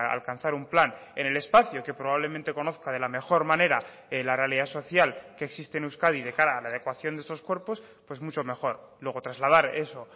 alcanzar un plan en el espacio que probablemente conozca de la mejor manera la realidad social que existe en euskadi de cara a la adecuación de estos cuerpos pues mucho mejor luego trasladar eso